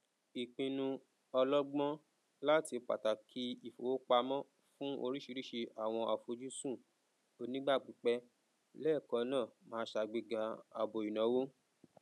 ìpìnnu ọlọgbọn latí pàtàkì ìfowópamọn fún óríṣiríṣi àwọn àfojúsùn onígbà pípẹ lẹẹkan náà máa ṣàgbéga àbò ìnáwó